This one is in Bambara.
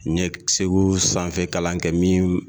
N ye segu sanfɛ kalan kɛ min